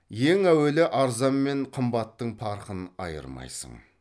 ең әуелі арзан мен қымбаттың парқын айырмайсың